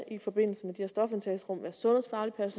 i forbindelse